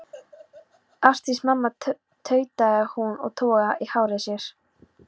Ásdís mamma, tautaði hún og togaði í hárið á sér.